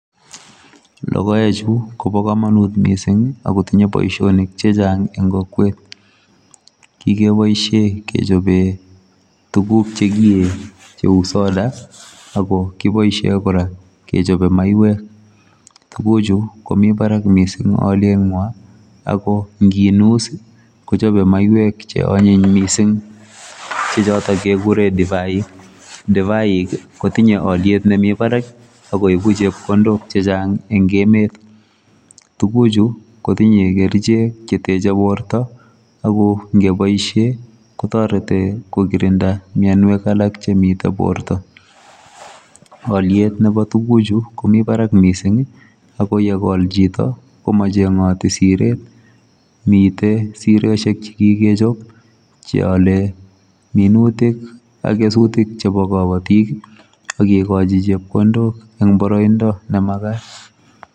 Logoechu kobo kamanut mising akotinye boisionik che chang eng kokwet, kikeboisie kechobe tukuk che kiee cheu soda, ako kiboisie kora kechobe maiywek, tukuchu komi barak mising alyenwa ako nginus ii, kochobe maiywek che anyiny mising che choto kekure Divaik, Divaik ii, kotinye alyet nemi barak akoibu chepkondok che chang eng emet, tukuchu kotinye kerichek che teche borta, ako ngeboisie kotorete kokirinda mionwek alak chemitei borta, alyet nebo tukuchu komi barak mising ii, ako ye kol chito komachengoti siret, mitei siroshek che kikechop che ale minutik ak kesutik chebo kabatik ii, ak kekochi chepkondok eng boroindo ne makat.